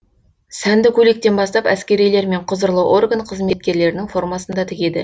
сәнді көйлектен бастап әскерилер мен құзырлы орган қызметкерлерінің формасын да тігеді